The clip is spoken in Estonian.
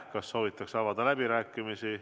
Kas soovitakse pidada läbirääkimisi?